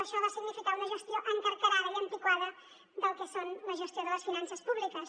això va significar una gestió encarcarada i antiquada del que és la gestió de les finances públiques